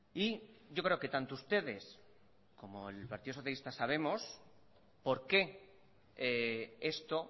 y yo creo que tanto ustedes como el partido socialista sabemos por qué esto